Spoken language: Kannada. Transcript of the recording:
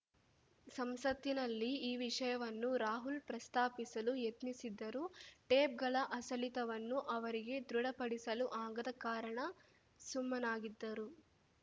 ಸಂಸತ್ತಿನಲ್ಲಿ ಈ ವಿಷಯವನ್ನು ರಾಹುಲ್‌ ಪ್ರಸ್ತಾಪಿಸಲು ಯತ್ನಿಸಿದ್ದರೂ ಟೇಪ್‌ಗಳ ಅಸಲಿತವನ್ನು ಅವರಿಗೆ ದೃಢಪಡಿಸಲು ಆಗದ ಕಾರಣ ಸುಮ್ಮನಾಗಿದ್ದರು